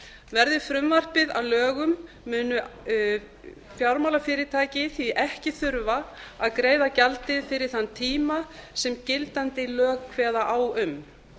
verði frumvarpið að lögum munu fyrirtæki því ekki þurfa að greiða gjaldið fyrir þann tíma sem gildandi lög kveða á um